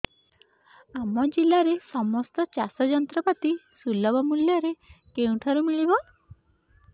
ଆମ ଜିଲ୍ଲାରେ ସମସ୍ତ ଚାଷ ଯନ୍ତ୍ରପାତି ସୁଲଭ ମୁଲ୍ଯରେ କେଉଁଠାରୁ ମିଳିବ